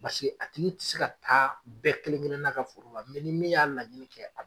Basike a tigi ti se ka taa bɛɛ kelen-kelenna ka foro la ni min y'a laɲini kɛ a b